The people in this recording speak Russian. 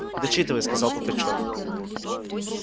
дочитывай сказал пугачёв